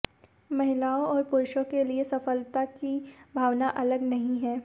महिलाओं और पुरुषों के लिए सफलता की भावना अलग नहीं है